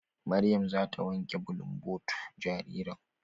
Maryam zata wanke bulunbotu jaririn.